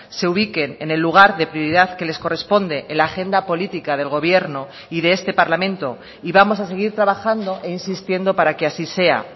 se ubiquen en el lugar de prioridad que les corresponde en la agenda política del gobierno y de este parlamento y vamos a seguir trabajando e insistiendo para que así sea